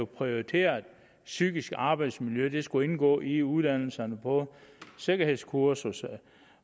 prioriterede at psykisk arbejdsmiljø skulle indgå i uddannelserne på sikkerhedskursus